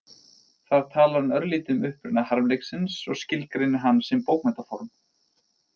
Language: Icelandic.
Þar talar hann örlítið um uppruna harmleiksins og skilgreinir hann sem bókmenntaform.